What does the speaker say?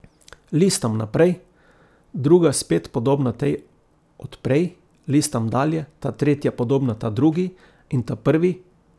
Listam naprej, druga spet podobna tej od prej, listam dalje, ta tretja podobna ta drugi in ta prvi!